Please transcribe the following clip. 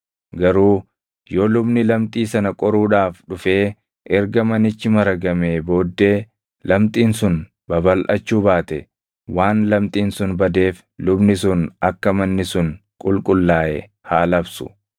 “Garuu yoo lubni lamxii sana qoruudhaaf dhufee erga manichi maragamee booddee lamxiin sun babalʼachuu baate waan lamxiin sun badeef lubni sun akka manni sun qulqullaaʼe haa labsu.